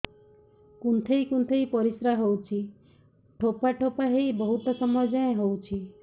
କୁନ୍ଥେଇ କୁନ୍ଥେଇ ପରିଶ୍ରା ହଉଛି ଠୋପା ଠୋପା ହେଇ ବହୁତ ସମୟ ଯାଏ ହଉଛି